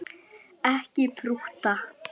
Ekki prútta!